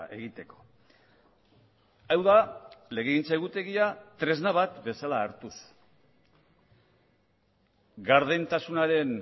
egiteko hau da legegintza egutegia tresna bat bezala hartuz gardentasunaren